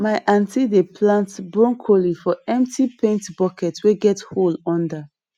my aunty dey plant broccoli for empty paint bucket wey get hole under